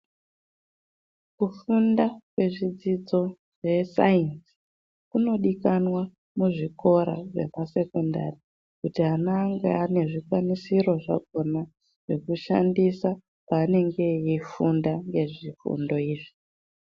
Kufunda kwezvidzidzo zvesainzi kunodikanwa muzvikora zvesekondari kuti ana ange anezvikwanisiro zvakona zvekushandisa panenge eifunda ngezvifundo izvi.